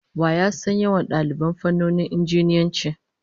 Wa ya san yawan daliban fannonin Injiniyanci?